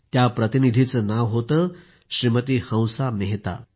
श्रीमती हंसा मेहता असे नाव त्या प्रतिनिधीचे होते